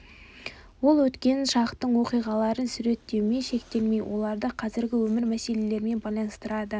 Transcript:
ол өткен шақтың оқиғаларын суреттеумен шектелмей оларды қазіргі өмір мәселелерімен байланыстырады